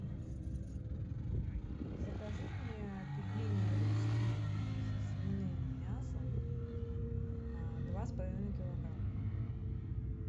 закажи мне пельмени русские со свиным мясом два с половиной килограмма